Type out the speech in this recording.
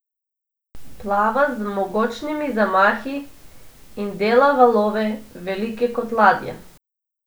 Plava z mogočnimi zamahi in dela valove, velike kot ladja.